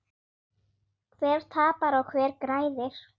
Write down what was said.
Hver tapar og hver græðir?